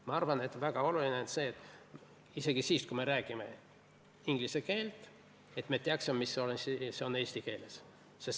Ma arvan, et isegi siis, kui me räägime inglise keelt, on oluline teada, mis see või teine on eesti keeles.